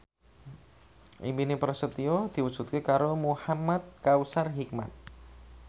impine Prasetyo diwujudke karo Muhamad Kautsar Hikmat